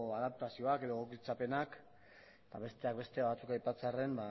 adaptazioak edo egokitzapenak eta besteak beste batzuk aipatzearren